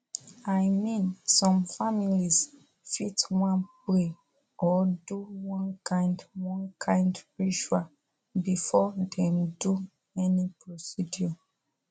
i mean some families fit wan pray or do one kind one kind ritual before dem do any procedure